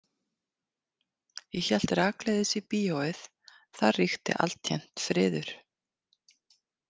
Ég hélt rakleiðis í bíóið, þar ríkti alltént friður.